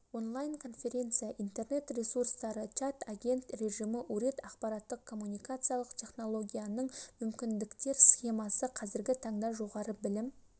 онлайн конференция интернет ресурстары чат агент режимі урет ақпараттық-коммуникациялық технологияның мүмкіндіктер схемасы қазіргі таңда жоғары білім